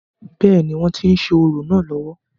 bẹ́ẹ̀ni, wọ́n tí ń ṣe orò náà lọ́wọ́